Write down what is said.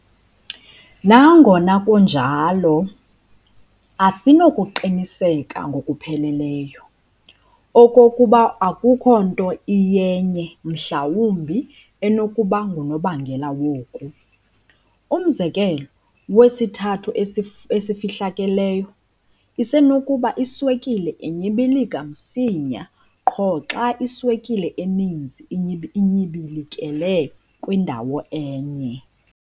Nangona kunjalo, asinakuqiniseka ngokupheleleyo, okokuba akukho nto iyenye mhlawumbi enokuba ngunobangela woku. Umzekelo "wesithathu esifuhlakeleyo" isenokuba iswekile inyibilika msinya qho xa iswekile eninzi inyibilikele kwindawo enye.